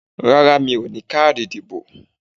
Rárá mi ò ní káàdì ìdìbò